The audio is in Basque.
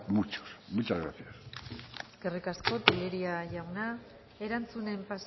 muchos muchas gracias eskerrik asko telleria jauna erantzunen